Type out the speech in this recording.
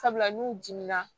Sabula n'u dimina